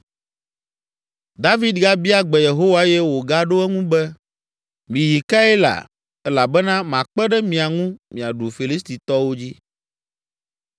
David gabia gbe Yehowa eye wògaɖo eŋu be, “Miyi Keila elabena makpe ɖe mia ŋu miaɖu Filistitɔwo dzi.”